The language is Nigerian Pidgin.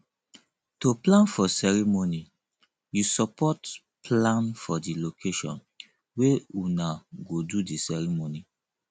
to plan for ceremony you support plan for di location wey una go do di ceremony